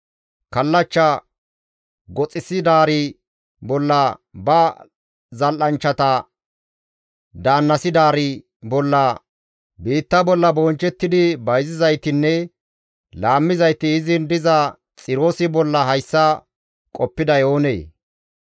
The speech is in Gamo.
Kallachcha goxissidaari bolla, ba zal7anchchata daannasidaari bolla, biitta bolla bonchchettidi bayzizaytinne laammizayti izin diza Xiroosi bolla hayssa qoppiday oonee?